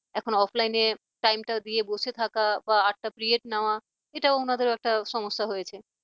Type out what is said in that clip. এখন offline এ time টা দিয়ে বসে থাকা বা আটটা period নেওয়া এটা উনাদের একটা সমস্যা হয়েছে।